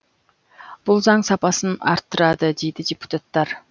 бұл заң сапасын арттырады дейді депутаттар